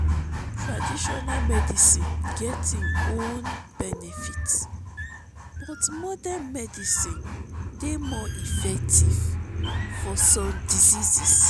taditional medicine get im own benefits but modern medicine dey more effective for some diseases.